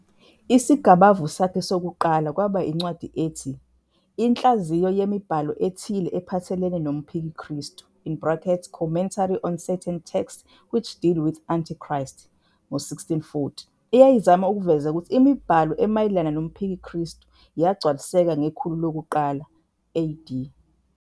Isigabavu sakhe sokuqala kwaba incwadi ethi Inhlaziyo yemiBhalo eThile ePhathelene nomPhikikristu in brackets Commentary on Certain Texts Which Deal with Antichrist, 1640, eyayizama ukuveza ukuthi imibhalo emayelana nomphikikristu yagcwaliseka ngekhulu lokuqala AD.